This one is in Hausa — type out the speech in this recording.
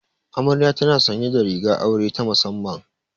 Amarya tana sanye da rigar aure ta musamman.